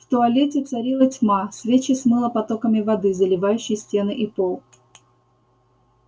в туалете царила тьма свечи смыло потоками воды заливающей стены и пол